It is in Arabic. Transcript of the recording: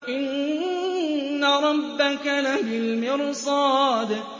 إِنَّ رَبَّكَ لَبِالْمِرْصَادِ